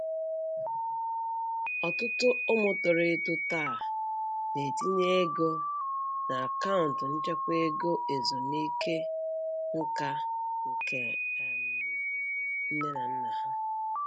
Ọtụtụ ụmụ toro eto taa na-etinye ego na akaụntụ nchekwa ego ezumike nka nke um nne na nna ha